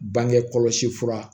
Bange kɔlɔsi fura